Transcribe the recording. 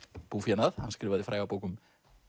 búfénað hann skrifaði fræga bók um